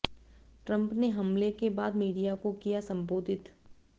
Trump ने हमले के बाद मीडिया को किया संबोधित